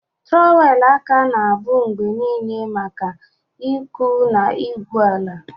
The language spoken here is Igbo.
Trọwelụ aka na-abụ mgbe niile maka ịkụ na igwu ala.